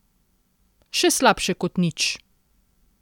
Še slabše kot nič!